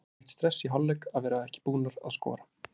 Var ekkert stress í hálfleik að vera ekki búnar að skora?